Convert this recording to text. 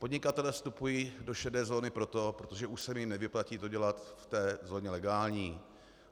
Podnikatelé vstupují do šedé zóny proto, protože už se jim nevyplatí to dělat v té zóně legální.